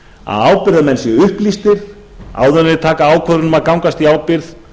að ábyrgðarmenn séu upplýstir áður en þeir taka ákvörðun um að gangast í ábyrgð